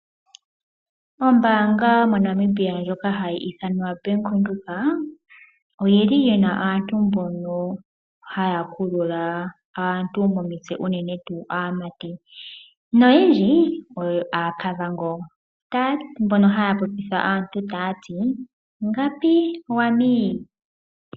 Ombaanga moNamibia ndyoka hayi ithanwa Bank Windhoek oyili yina aantu haya kulula aantu momitse unene tuu aamati noyendji oyo aaKavango mboka haya popitha aantu taya ti "Ngapi wami"?